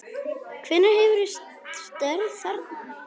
Hvenær hefurðu störf þarna?